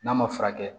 N'a ma furakɛ